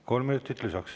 Kolm minutit lisaks.